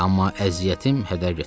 Amma əziyyətim hədər getmədi.